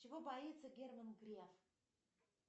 чего боится герман греф